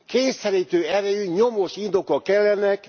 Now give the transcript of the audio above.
Kényszerítő erejű, nyomós indokok kellenek!